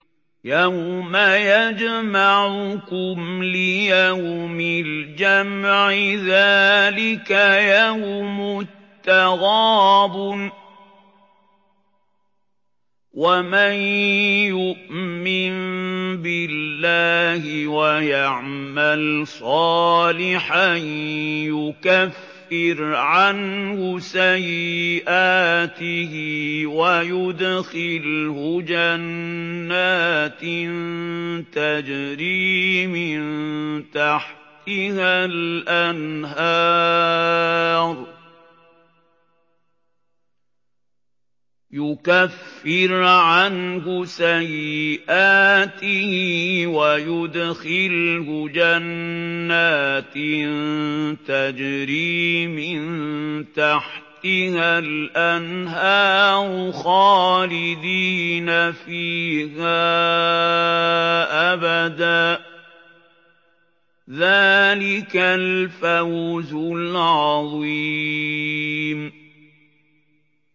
يَوْمَ يَجْمَعُكُمْ لِيَوْمِ الْجَمْعِ ۖ ذَٰلِكَ يَوْمُ التَّغَابُنِ ۗ وَمَن يُؤْمِن بِاللَّهِ وَيَعْمَلْ صَالِحًا يُكَفِّرْ عَنْهُ سَيِّئَاتِهِ وَيُدْخِلْهُ جَنَّاتٍ تَجْرِي مِن تَحْتِهَا الْأَنْهَارُ خَالِدِينَ فِيهَا أَبَدًا ۚ ذَٰلِكَ الْفَوْزُ الْعَظِيمُ